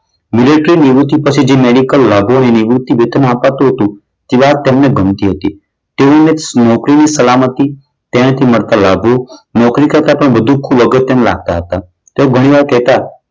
Military નિવૃત્તિ પછી medical લાભો અને નિવૃત્તિ વેતન અપાતું હતું. તે વાત તેમને ગમતી હતી. તેઓને નોકરીની સલામતી તેનાથી મળતા લાભો નોકરી કરતા ખૂબ વધુ અગત્યના લાગતા હતા. તો ઘણીવાર કહેતા